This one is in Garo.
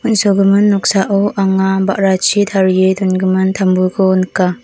mesokgimin noksao anga ba·rachi tarie dongimin tambuko nika.